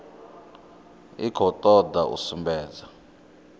i khou toda u sumbedza